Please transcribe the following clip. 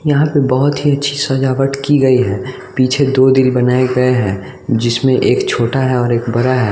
यहाँ पे बहुत ही अच्छी सजावट की गई है पीछे दो दिल बनाए गए हैं जिसमें एक छोटा है और एक बड़ा है।